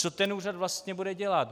Co ten úřad vlastně bude dělat?